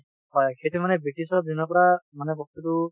হয় ,সেইটো মানে ব্ৰিটিছৰ দিনৰ পৰা মানে বস্তুটো